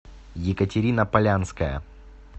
екатерина полянская